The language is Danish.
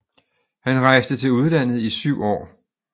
Han rejste til udlandet i syv år